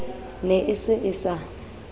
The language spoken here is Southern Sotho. ne e se e sa